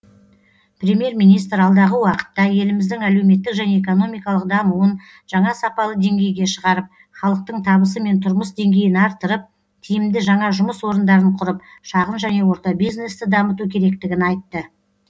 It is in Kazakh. премьер министр алдағы уақытта еліміздің әлеуметтік және экономикалық дамуын жаңа сапалы деңгейге шығарып халықтың табысы мен тұрмыс деңгейін арттырып тиімді жаңа жұмыс орындарын құрып шағын және орта бизнесті дамыту керектігін айтты